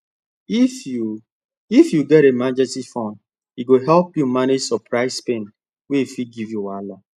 if you if you get emergency fund e go help you manage surprise spend wey fit give you wahala